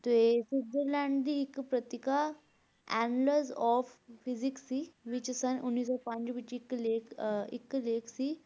ਤੇ ਸੁਵਿਟਰਜ਼ਰਲੈਂਡ ਦੀ ਇੱਕ ਪਤ੍ਰਿਕਾ Annals of Physics ਸੀ, ਵਿੱਚ ਸੰਨ ਉੱਨੀ ਸੌ ਪੰਜ ਵਿੱਚ ਇੱਕ ਲੇਖ ਅਹ ਇੱਕ ਲੇਖ ਸੀ